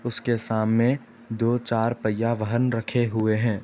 उसके सामने दो चार पहिया वाहन रखे हुए हैं।